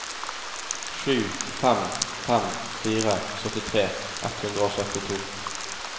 sju fem fem fire syttitre ett hundre og syttito